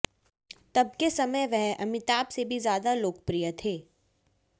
तब के समय वह अमिताभ से भी ज़्यादा लोकप्रिय थे